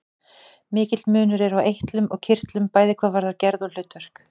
Mikill munur er á eitlum og kirtlum, bæði hvað varðar gerð og hlutverk.